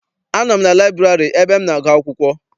Anọ m na laịburarị ebe m na-agụ akwụkwọ.